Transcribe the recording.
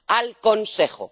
Al Consejo.